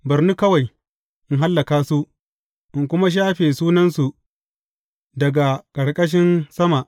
Bar ni kawai, in hallaka su, in kuma shafe sunansu daga ƙarƙashin sama.